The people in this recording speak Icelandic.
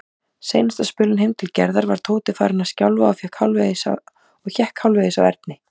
Seinasta spölinn heim til Gerðar var Tóti farinn að skjálfa og hékk hálfvegis á Erni.